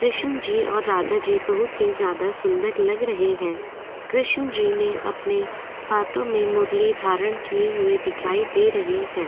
कृष्ण जी और राधा जी बहुत ही ज़्यादा सुंदर लग रहे हैं कृष्ण जी ने अपने हाथों में मुरली धारण किए हुए दिखाई दे रहे हैं।